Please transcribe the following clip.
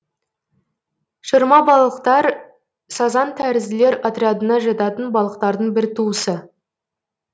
шырмабалықтар сазан тәрізділер отрядына жататын балықтардың бір туысы